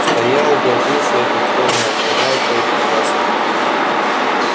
стоял и гордился этим словно охранял с боеприпасами